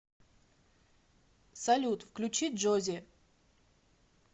салют включи джози